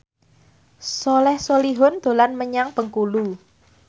Soleh Solihun dolan menyang Bengkulu